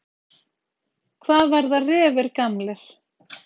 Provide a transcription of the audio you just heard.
Hvað verða refir gamlir?